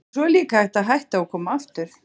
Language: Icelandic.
En svo er líka hægt að hætta og koma aftur.